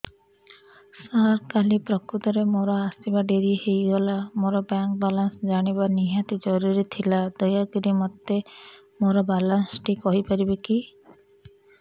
ସାର କାଲି ପ୍ରକୃତରେ ମୋର ଆସିବା ଡେରି ହେଇଗଲା ମୋର ବ୍ୟାଙ୍କ ବାଲାନ୍ସ ଜାଣିବା ନିହାତି ଜରୁରୀ ଥିଲା ଦୟାକରି ମୋତେ ମୋର ବାଲାନ୍ସ ଟି କହିପାରିବେକି